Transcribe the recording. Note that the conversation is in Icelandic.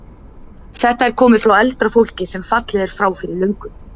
Þetta er komið frá eldra fólki sem fallið er frá fyrir löngu.